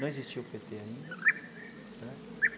Não existia o pê tê ainda certo.